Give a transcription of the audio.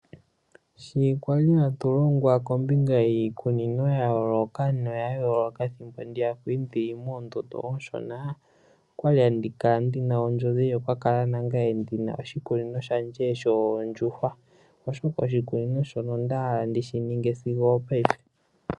Sho kwali hatu longwa kombinga yiikunino ya yooloka no ya yooloka. Ethimbo ndiya kwali ndili moondondo oshona. okwali ndina ondjodhi yoku kala ndina nangaye oshikunino shoondjuhwa. Oshikunino shika onda hala okushi ninga sigo paife.